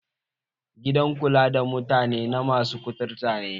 Gidan kula da kutare na mutane masy kuturta ne